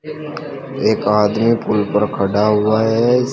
एक आदमी पुल पर खड़ा हुआ है।